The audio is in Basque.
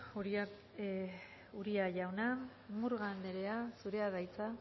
uria jauna murga anderea zurea da hitza